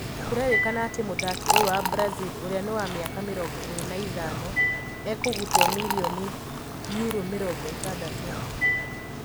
Kũrerikana ati mũthaki ũyũ wa Brazil ũria ni wa miaka mĩrongo ĩrĩ na ithano ekugutwo mirioni Euro mĩrongo ĩtandatũ.